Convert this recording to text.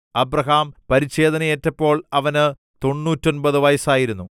Abraham പരിച്ഛേദനയേറ്റപ്പോൾ അവന് തൊണ്ണൂറ്റൊമ്പത് വയസ്സായിരുന്നു